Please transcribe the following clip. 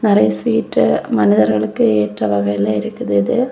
நிறைய ஸ்வீட் மனிதர்களுக்கு ஏற்ற வகையில இருக்குது இது.